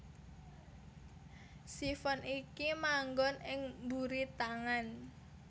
Sifon iki manggon ing mburi tangan